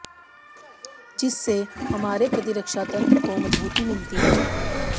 जिससे हमारे प्रतिरक्षा तंत्र को मजबूती मिलती है